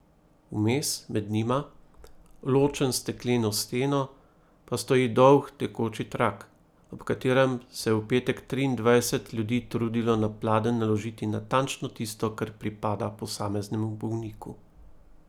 Vmes med njima, ločen s stekleno steno, pa stoji dolg tekoči trak, ob katerem se je v petek triindvajset ljudi trudilo na pladenj naložiti natančno tisto, kar pripada posameznemu bolniku.